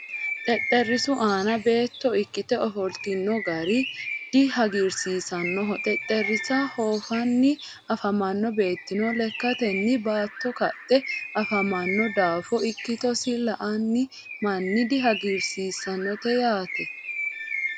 xexerisu aanna beeto ikite ofollitinno gari dihagirisiisanoho xexerisa hoofanni afamanno beetino lekatenni baatto kaxe afamano daafo ikitosi la'ani manna dihagirisisanote yaate.